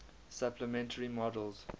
supplementary models